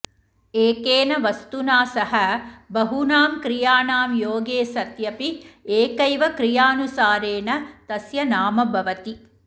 एकेन वस्तुना सह बहूनां क्रियाणां योगे सत्यपि एकैव क्रियानुसारेण तस्य नाम भवति